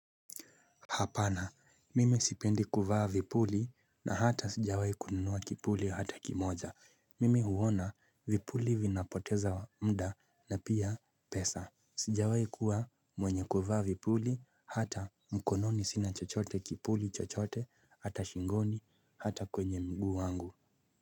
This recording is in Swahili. Hapana mimi sipendi kuvaa vipuli na hata sijawai kununua kipuli hata kimoja. Mimi huona vipuli vinapoteza muda na pia pesa. Sijawai kuwa mwenye kuvaa vipuli hata mkononi sina chochote kipuli chochote hata shingoni hata kwenye mguu wangu.